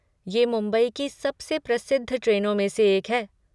ये मुंबई की सबसे प्रसिद्ध ट्रेनों में से एक है।